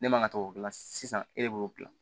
Ne man ka to k'o dilan sisan e de b'o dilan